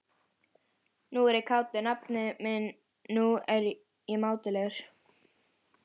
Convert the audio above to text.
Nú er ég kátur, nafni minn, nú er ég mátulegur.